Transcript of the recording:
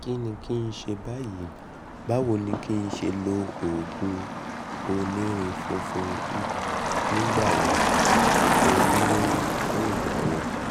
kíni kí n ṣe báyìí? báwo ni kí n ṣe lo oògùn onírin fúnfun nìgbà wo onírin fún ìgbà wo?